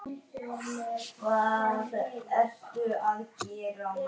Rigning er í nánd.